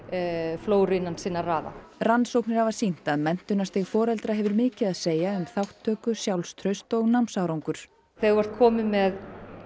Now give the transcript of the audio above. flóru innan sinna raða rannsóknir hafa sýnt að menntunarstig foreldra hefur mikið að segja um þátttöku sjálfstraust og námsárangur þegar þú ert kominn með